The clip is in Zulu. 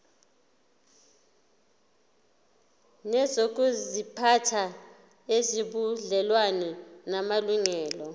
nezokuziphatha ezinobudlelwano namalungelo